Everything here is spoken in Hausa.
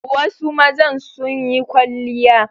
Wasu mazan sun yi kwalliya.